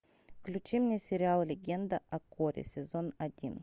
включи мне сериал легенда о корре сезон один